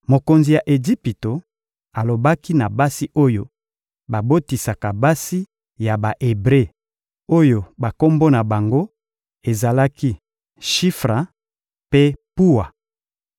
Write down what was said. Mokonzi ya Ejipito alobaki na basi oyo babotisaka basi ya Ba-Ebre, oyo bakombo na bango ezalaki Shifra mpe Puwa: